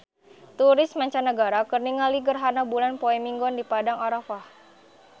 Turis mancanagara keur ningali gerhana bulan poe Minggon di Padang Arafah